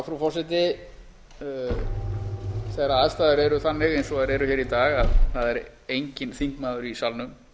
frú forseti þegar aðstæður eru þannig eins og þær eru hér í dag að það er enginn þingmaður í salnum